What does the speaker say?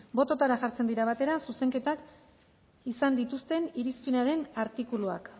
botoetara jartzen dira batera zuzenketak izan dituzten irizpenaren artikuluak